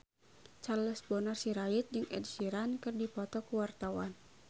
Charles Bonar Sirait jeung Ed Sheeran keur dipoto ku wartawan